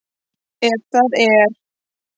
Ef það er?